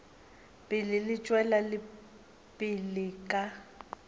pele di tšwela pele ka